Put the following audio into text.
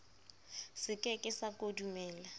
se ke ke sa kodumela